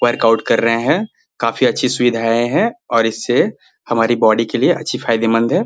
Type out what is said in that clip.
Workout कर रहे है काफी अच्छी सुविधाएं है और इससे हमारे बॉडी के लिए अच्छी फायदेमंद हैं।